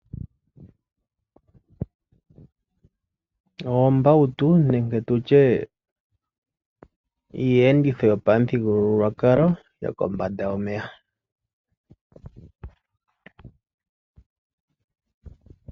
Oombawutu nenge tutye iiyenditho yopamuthigululwakalo yoko mbanda yomeya.